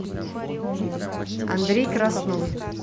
андрей краснов